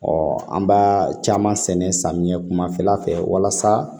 an b'a caman sɛnɛ samiyɛ kumafɛ la fɛ walasa